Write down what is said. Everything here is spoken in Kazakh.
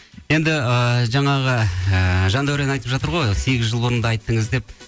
енді ыыы жаңағы ііі жандәурен айтып жатыр ғой сегіз жыл бұрын да айттыңыз деп